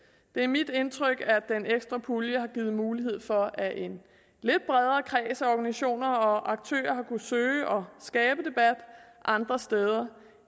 det er mit indtryk at den ekstra pulje har givet mulighed for at en lidt bredere kreds af organisationer og aktører har kunnet søge og skabe debat andre steder